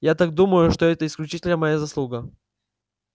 я так думаю что это исключительно моя заслуга